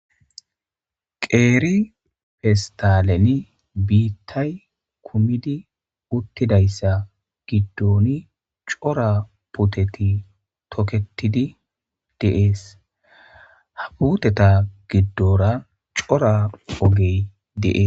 Qeri fesitaleni bitay kumidi utidays gidoni cora puteti toketidi deasi ha outeta gidora cora oge deasi.